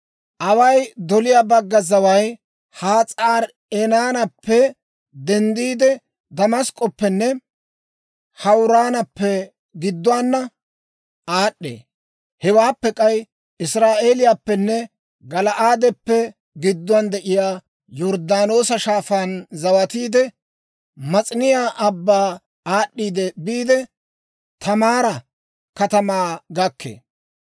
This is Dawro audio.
«Away doliyaa bagga zaway Has'aari-Enaanappe denddiide, Damask'k'oppenne Hawuraanappe gidduwaana aad'd'ee. Hewaappe k'ay Israa'eeliyaappenne Gala'aadeppe gidduwaan de'iyaa Yorddaanoosa Shaafaan zawatiidde, Mas'iniyaa Abbaa aad'd'iidde biide, Taamaara katamaa gakkee.